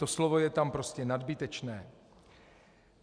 To slovo je tam prostě nadbytečné.